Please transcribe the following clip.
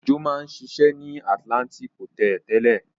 Òjó máa ń ṣiṣẹ́ ní Atlantic Hòtẹ́ẹ́lì tẹ́lẹ̀.